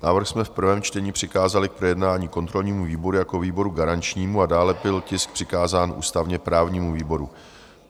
Návrh jsme v prvém čtení přikázali k projednání kontrolnímu výboru jako výboru garančnímu a dále byl tisk přikázán ústavně-právnímu výboru.